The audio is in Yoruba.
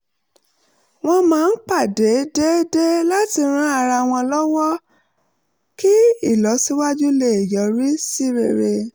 wọ́n máa ń pàdé déédéé láti ran ara wọn um lọ́wọ́ kí ìlọsíwájú wọn lè yọrí sí rere